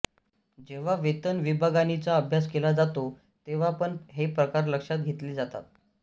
जेव्हा वेतन विभागाणीचा अभ्यास केला जातो तेव्हा पण हे प्रकार लक्षात घेतले जातात